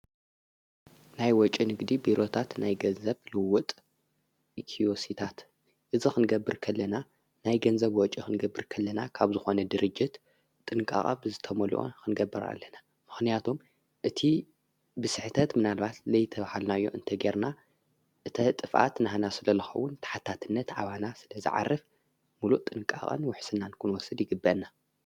ናይ ወጭን ጊዲ ቢሮታት ናይ ገዘብ ልውጥ ኢክዩሲታት እዝ ኽንገብር ከለና ናይ ገንዘብ ወጭኽንገብር ከለና ካብ ዝኾነ ድርጅት ጥንቃቓ ብዝተመልኦ ኽንገብር ኣለና ምኽንያቶም እቲ ብስሕተት ምናልባት ለይተውሃልናዮ እንተ ጌርና እተ ጥፍኣት ንህና ስለለኸውን ተሓታትነት ዓዋና ስለ ዝዓርፍ ምሉእ ጥንቃቐን ውሕስናንኩን ወስድ ይግበና።